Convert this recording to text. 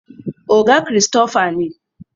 oga Christopher ne